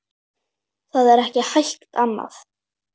Það er ekki hægt annað.